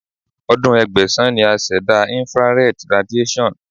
Ọdún Ẹgbẹ̀sán ni a ṣẹ̀dá Infrared radiation.